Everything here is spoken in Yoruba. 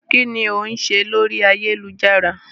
Kínní ó ń ṣe lórí ayélujára?